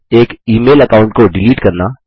एक email account को delete करना